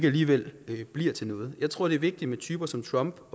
alligevel ikke bliver til noget jeg tror det er vigtigt med typer som trump